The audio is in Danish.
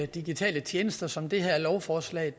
digitale tjenester som det her lovforslag